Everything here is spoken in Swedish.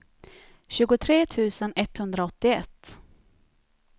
tjugotre tusen etthundraåttioett